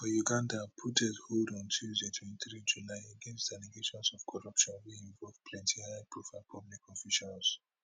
uganda protest hold on tuesday twenty three july against allegations of corruption wey involve plenty high profile public officials